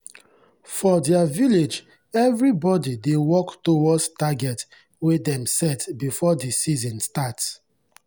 for their village everybody dey work towards target wey dem set before the season start.